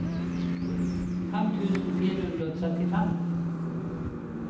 fem tusen fire hundre og trettifem